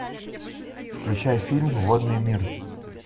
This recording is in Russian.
включай фильм водный мир